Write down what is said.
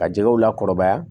Ka jɛgɛw lakɔrɔbaya